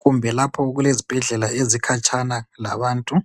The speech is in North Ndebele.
kumbe lapho okulezibhedlela ezikhatshana labantu.